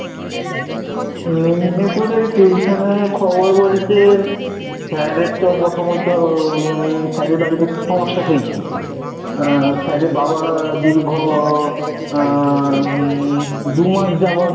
মেদনীপুরে tuition এর খবর বলতে sir এর তো প্রথমত sir এর বাড়িতে একটু সমস্যা হয়েছিল, sir এর বাবা দীর্ঘ দু মাস যাবত